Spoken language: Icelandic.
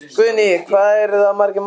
Guðný: Hvað eru það margir mánuðir?